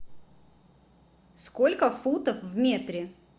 сколько футов в метре